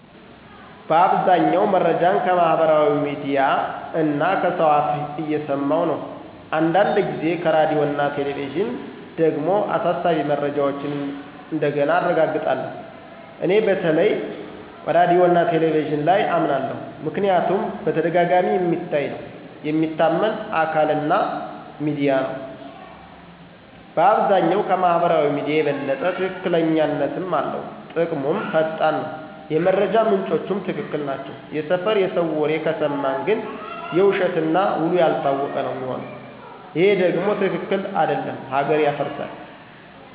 በአብዛኛው መረጃን ከማህበራዊ ሚድያ (Facebook, Telegram, TikTok ወዘተ) እና ከሰው አፍ እየሰማኩ ነው። አንዳንድ ጊዜ ከራዲዮና ቲቪ ደግሞ አሳሳቢ መረጃዎችን እንደገና አረጋግጣለሁ። እኔ በተለይ ራዲዮና ቲቪ ላይ አመናለሁ ምክንያቱም በተደጋጋሚ የሚታይ ነው፣ የሚታመን አካል እና ሚዲያ ነው (እንደ EBC፣ Fana፣ Sheger ቢሆንም)፣ በአብዛኛው ከማህበራዊ ሚዲያ የበለጠ ትክክለኛነትም አለው። ጥቅሙም ፈጣን ነው፣ የመረጃ ምንጮቹም ትክክል ናቸው። የሰፈር የሰው ወሬ ከሰማን ግን የውሸት እና ውሉ ያልታወቀ ነው ሚሆነው ይሄ ደም ትክክል አደለም ሀገር ያፈርሳል።